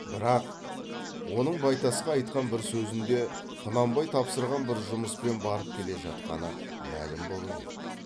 бірақ оның байтасқа айтқан бір сөзінде құнанбай тапсырған бір жұмыспен барып келе жатқаны мәлім болып еді